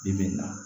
Bi bi in na